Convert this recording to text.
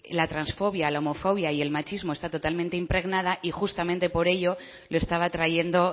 la transfobia la homofobia y el machismo está totalmente impregnada y justamente por ello lo estaba trayendo